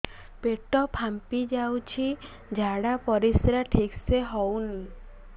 ପେଟ ଫାମ୍ପି ଯାଉଛି ଝାଡ଼ା ପରିସ୍ରା ଠିକ ସେ ହଉନି